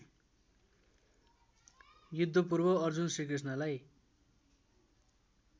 युद्धपूर्व Arjun श्रीकृष्णलाई